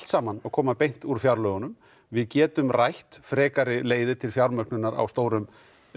saman að koma úr fjárlögunum við getum rætt frekari leiðir til fjármögnunar á stórum